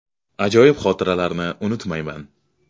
Ajoyib xotiralarni unutmayman.